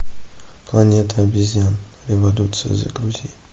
планета обезьян революция загрузи